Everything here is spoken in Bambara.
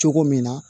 Cogo min na